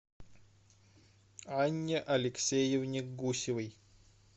анне алексеевне гусевой